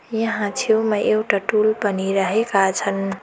यहाँ छेउमा एउटा टुल पनि राखेका छन्।